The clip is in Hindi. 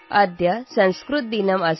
अद्य संस्कृतदिनम् अस्ति